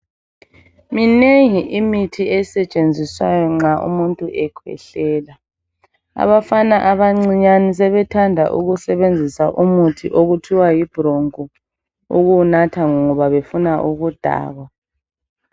Minengi imithi esetshenziswa nxa umuntu ekhwehlela. Abafana abancinyani sebethanda ukusebenzisa umuthi okuthiwa yibroncho ukuwunatha ngoba befuna ukudakwa.